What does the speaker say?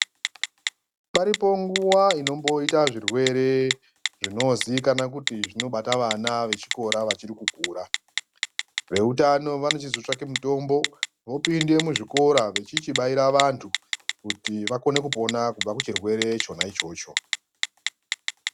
Paripo nguva inomboita zvirwere zvinozikanwa kuti zvinobata vana vechikora vachiri kukura. Veutano vanochizotsvake mitombo vopinde muzvikora vechindobaira vantu kuti vakone kupona kubva kuchirwere chona ichocho.